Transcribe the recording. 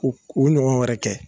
U k'o ɲɔgɔn wɛrɛ kɛ